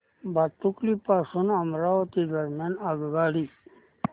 भातुकली पासून अमरावती दरम्यान आगगाडी